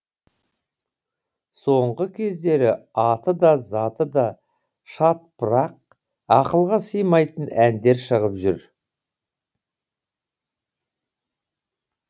соңғы кездері аты да заты да шатпырақ ақылға сыймайтын әндер шығып жүр